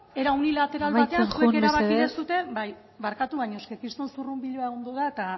era unilateral batean amaitzen joan mesedez zuek erabaki duzue bai barkatu baino eske kriston zurrunbiloa egon da eta